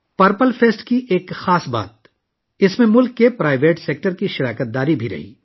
purple festival کی ایک خاص بات اس میں ملک کے نجی شعبے کی شرکت تھی